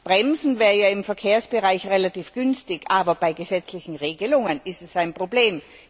Bremsen wäre ja im Verkehrsbereich relativ günstig, aber bei gesetzlichen Regelungen ist es ein Problem.